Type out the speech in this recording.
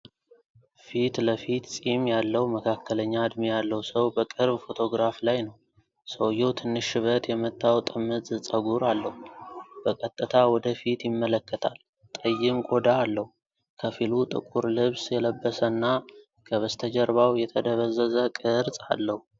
ፊት ለፊት ፂም ያለው መካከለኛ ዕድሜ ያለው ሰው በቅርብ ፎቶግራፍ ላይ ነው። ሰውዬው ትንሽ ሸበት የመታው ጥምዝ ፀጉር አለው። በቀጥታ ወደ ፊት ይመለከታል፤ ጠይም ቆዳ አለው። ከፊሉ ጥቁር ልብስ የለበሰና፣ ከበስተጀርባው የተደበዘዘ ቅርጽ አለ።